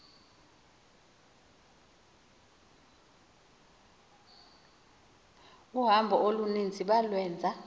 uhambo oluninzi balwenza